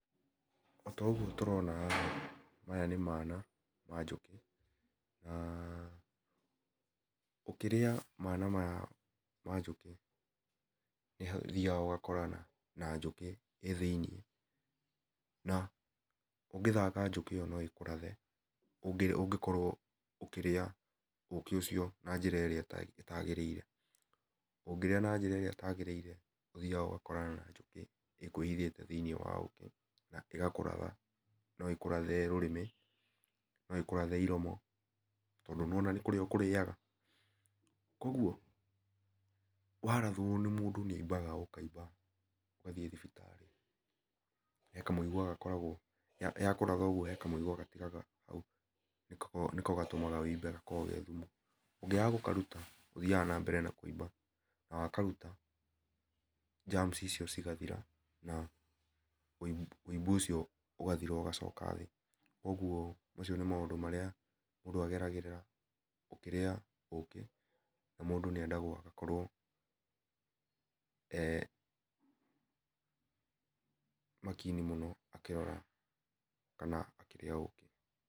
Otoguo tũrona haha, mayha nĩ mana ma njũkĩ, na, ũkĩrĩa mana maya ma njũkĩ, nĩhathiaga ũgakorana na njũkĩ, ĩ thĩ-inĩ na, ũngĩthaka njũkĩ ĩyo noĩkũrathe ũngĩ ũngĩkorwo ũkĩrĩa ũkĩ ũcio na njĩra ĩrĩa ĩtagĩrĩire, ũngĩrĩa na njĩra ĩrĩa ĩtagĩrĩire, ũthiaga ũgakorana na njũkĩ ĩkwĩhithĩte thĩ-inĩ wa ũkĩ, na kĩrĩa ũkoraga, no ĩkũrathe rũrĩmĩ, no ĩkũrathe iromo, tondũ nĩwona nĩ kũrĩa ũkũrĩaga, koguo warathwo nĩ mũndũ nĩaimbaga ũkaimba, ũgathiĩ thibitarĩ, he kamũigua gakoragwo, ya yakũratha he kamũigua gatigaraga hau, nĩko nĩko gatũmaga wũimbe gako ge thumu, ũngĩaga gũkaruta ũthiaga nambere na kũimba, nawa karuta, germs icio cigathira, na wũimbu wũimbo ũcio ũgathira ũgacoka thĩ, ũguo, macio nĩ maũndũ marĩa mũndũ ageragĩra ũkĩrĩa ũkĩ, na mũndũ nĩendagwo agakorwo, e makini mũno akĩrora, kana akĩrĩa ũkĩ.